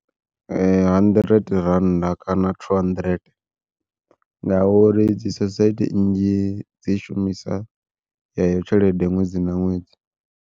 Hundred rannda kana two hundred ngauri dzi sosaithi nnzhi dzi shumisa yeyo tshelede ṅwedzi na ṅwedzi.